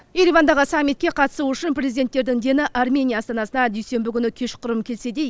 еревандағы саммитке қатысу үшін президенттердің дені армения астанасына дүйсенбі күні кешқұрым келсе де